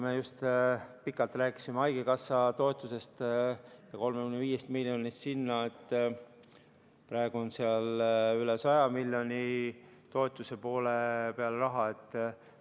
Me just pikalt rääkisime haigekassa toetusest ja 35 miljonist, mis sinna läheb, praegu on seal toetusepoole peal üle 100 miljoni.